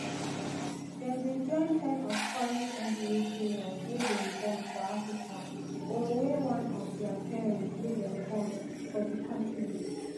dem dey join ten percent of current nba players wey dem born for africa or wey one of dia parent wey dem born for d continent.